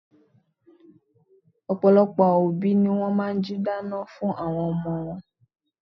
Ọ̀pọ̀lọpọ̀ obi ni wọ́n máa n jí dáná fun àwọn n omo wọn